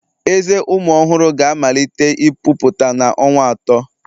Ezé ụmụ ọhụrụ ga-amalite ịpụta site na ọnwa atọ